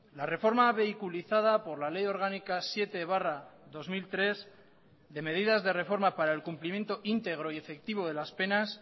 la reforma vehiculizada por la ley orgánica siete barra dos mil tres de medidas de reforma para el cumplimiento íntegro y efectivo de las penas